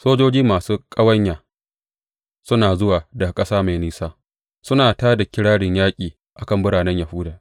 Sojoji masu ƙawanya suna zuwa daga ƙasa mai nisa, suna tā da kirarin yaƙi a kan biranen Yahuda.